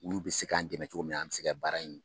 Olu bɛ se k'an dɛmɛ cogo min an bɛ se ka baara in